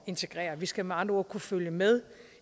integrere vi skal med andre ord kunne følge med